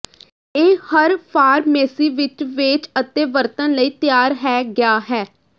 ਇਹ ਹਰ ਫਾਰਮੇਸੀ ਵਿੱਚ ਵੇਚ ਅਤੇ ਵਰਤਣ ਲਈ ਤਿਆਰ ਹੈ ਗਿਆ ਹੈ